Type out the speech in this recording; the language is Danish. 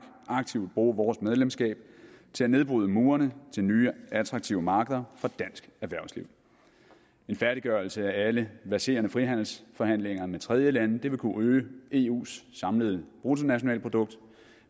aktivt bruge vores medlemskab til at nedbryde murene til nye attraktive markeder for dansk erhvervsliv en færdiggørelse af alle verserende frihandelsforhandlinger med tredjelande vil kunne øge eus samlede bruttonationalprodukt